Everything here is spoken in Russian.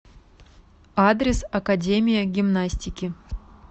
адрес академия гимнастики